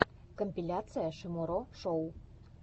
компиляция шиморо шоу